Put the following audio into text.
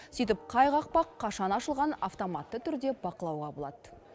сөйтіп қай қақпақ қашан ашылғанын автоматты түрде бақылауға болады